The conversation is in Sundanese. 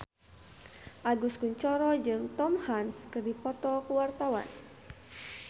Agus Kuncoro jeung Tom Hanks keur dipoto ku wartawan